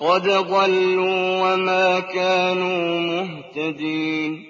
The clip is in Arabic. قَدْ ضَلُّوا وَمَا كَانُوا مُهْتَدِينَ